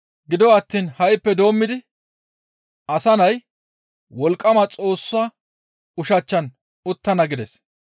Gido attiin ha7ippe doommidi Asa Nay wolqqama Xoossa ushachchan uttana» gides.